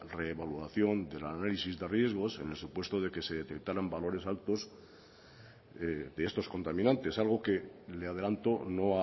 reevaluación del análisis de riesgos en el supuesto de que se detectaran valores altos de estos contaminantes algo que le adelanto no